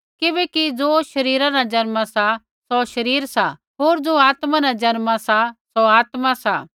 किबैकि ज़ो शरीरा न जन्मा सा सौ शरीर सा होर ज़ो आत्मा न जन्मा सा सौ आत्मा सा